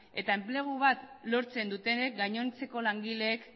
eta enplegu bat lortzen dutenek gainontzeko langileek